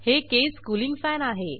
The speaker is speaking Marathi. हे केस कूलिंग फॅन आहे